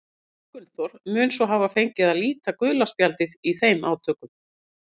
Eggert Gunnþór mun svo hafa fengið að líta gula spjaldið í þeim átökum.